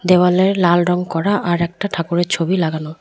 দেওয়ালে লাল রঙ করা আর একটা ঠাকুরের ছবি লাগানো।